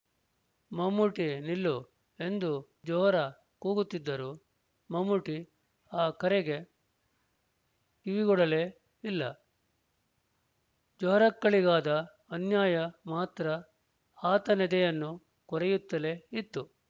ಮಮ್ಮೂಟೀ ನಿಲ್ಲು ಎಂದು ಜೊಹರಾ ಕೂಗುತ್ತಿದ್ದರೂ ಮಮ್ಮೂಟಿ ಆ ಕರೆಗೆ ಕಿವಿಗೊಡಲೇ ಇಲ್ಲ ಜೊಹರಕ್ಕಳಿಗಾದ ಅನ್ಯಾಯ ಮಾತ್ರ ಆತನೆದೆಯನ್ನು ಕೊರೆಯುತ್ತಲೇ ಇತ್ತು